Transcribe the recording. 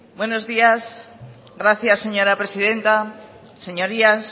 buenos días gracias señora presidenta señorías